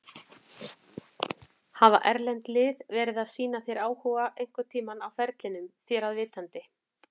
Hafa erlend lið verið að sýna þér áhuga einhverntímann á ferlinum þér að vitandi?